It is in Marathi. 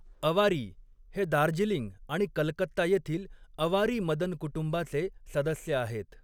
अवारी हे दार्जिलिंग आणि कलकत्ता येथील अवारी मदन कुटुंबाचे सदस्य आहेत.